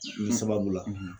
Nin sababu la